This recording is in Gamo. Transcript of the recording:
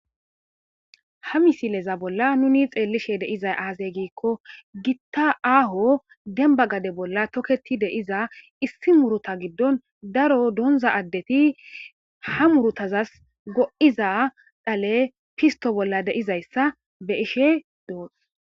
ha misileza bolla nuni xeellishe deizay aazey giikko gitta aaho demba gade bolla toketi deiza issi muruta giddon daro donza addeti ha murutazas go7iza dhale fisto bolla deizayssa be ishe doon